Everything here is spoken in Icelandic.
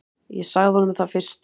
Ég sagði honum það fyrstum.